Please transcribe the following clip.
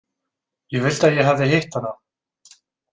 Ég vildi að ég hefði hitt hana.